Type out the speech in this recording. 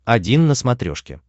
один на смотрешке